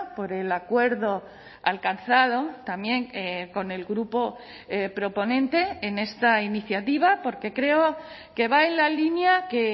por el acuerdo alcanzado también con el grupo proponente en esta iniciativa porque creo que va en la línea que